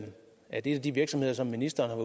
en af de virksomheder som ministeren